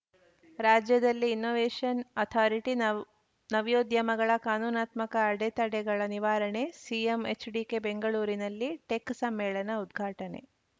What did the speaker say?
ರಾಜ್ಯದಲ್ಲಿ innovation authority ನವೊ ನವ್ಯೋದ್ಯಮಗಳ ಕಾನೂನಾತ್ಮಕ ಅಡೆತಡೆಗಳ ನಿವಾರಣೆ ಸಿಎಂ ಎಚ್‌ಡಿಕೆ ಬೆಂಗಳೂರಿನಲ್ಲಿ ಟೆಕ್‌ ಸಮ್ಮೇಳನ ಉದ್ಘಾಟನೆ